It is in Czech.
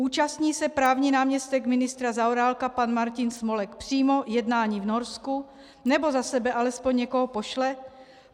Účastní se právní náměstek ministra Zaorálka pan Martin Smolek přímo jednání v Norsku, nebo za sebe alespoň někoho pošle?